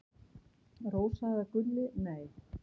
Rósa eða Gulli: Nei.